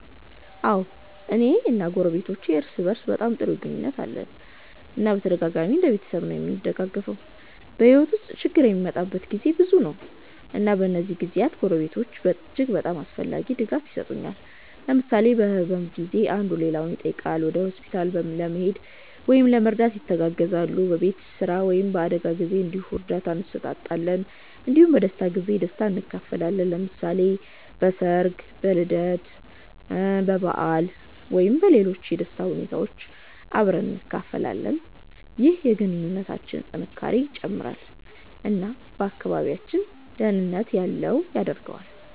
አዎ፣ እኔ እና ጎረቤቶቼ እርስ በእርስ በጣም ጥሩ ግንኙነት አለን እና በተደጋጋሚ እንደ ቤተሰብ ነዉ እምንደጋገፈዉ። በሕይወት ውስጥ ችግር የሚመጣበት ጊዜ ብዙ ነው፣ እና በእነዚህ ጊዜያት ጎረቤቶች እጅግ አስፈላጊ ድጋፍ የሰጡኛል። ለምሳሌ በህመም ጊዜ አንዱ ሌላውን ይጠይቃል፣ ወደ ሆስፒታል ለመሄድ ወይም ለመርዳት ይተጋገዛሉ። በቤት ስራ ወይም በአደጋ ጊዜ እንዲሁ እርዳታ እንሰጣጣለን እንዲሁም በደስታ ጊዜ ደስታን እንካፈላለን። ለምሳሌ በሠርግ፣ በልደት በዓል ወይም በሌሎች የደስታ ሁኔታዎች አብረን እንካፈላለን። ይህ የግንኙነታችንን ጥንካሬ ይጨምራል እና አካባቢያችንን ደህንነት ያለው ያደርገዋል።